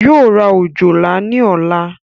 Yóò ra òjòlá ní ọ̀la